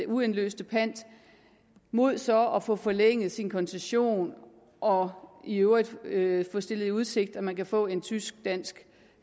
uindløste pant mod så at få forlænget sin koncession og i øvrigt øvrigt få stillet i udsigt at man kan få en tysk dansk